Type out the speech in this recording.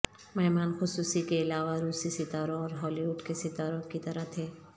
مہمان خصوصی کے علاوہ روسی ستاروں اور ہالی وڈ کے ستاروں کی طرح تھے